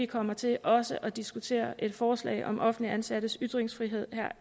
kommer til også at diskutere et forslag om offentligt ansattes ytringsfrihed